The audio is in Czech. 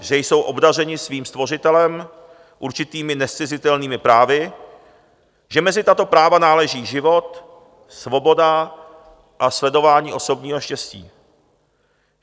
Že jsou obdařeni svým Stvořitelem, určitými nezcizitelnými právy, že mezi tato práva náleží život, svoboda a sledování osobního štěstí.